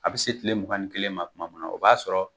A bɛ se tile mugan ni kelen ma tuma min na, o b'a sɔrɔ,